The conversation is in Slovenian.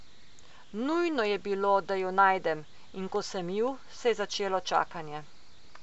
Nujno je bilo, da ju najdem, in ko sem ju, se je začelo čakanje.